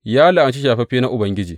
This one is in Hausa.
Ya la’anci shafaffe na Ubangiji.